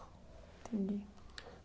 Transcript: Entendi.